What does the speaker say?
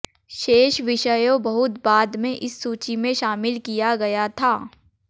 शेष विषयों बहुत बाद में इस सूची में शामिल किया गया था